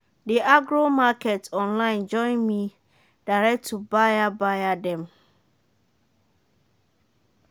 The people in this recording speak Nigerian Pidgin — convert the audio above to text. the agro-market online join me direct to buyer buyer dem.